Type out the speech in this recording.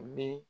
Bi